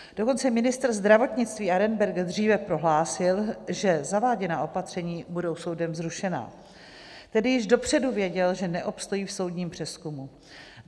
Dokonce ministr zdravotnictví Arenberger dříve prohlásil, že zaváděná opatření budou soudem zrušena, tedy již dopředu věděl, že neobstojí v soudním přezkumu.